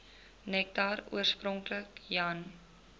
nektar oorspronklik jan